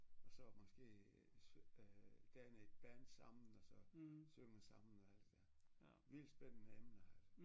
Og så måske øh danne et band sammen og så synge sammen og alt det der vildt spændende emne altså